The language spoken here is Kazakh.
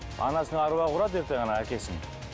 анасының әруағы ұрады ертең ана әкесін